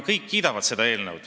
Kõik kiidavad seda eelnõu.